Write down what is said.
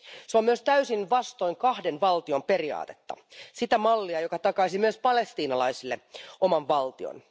Se on myös täysin vastoin kahden valtion periaatetta sitä mallia, joka takaisi myös palestiinalaisille oman valtion.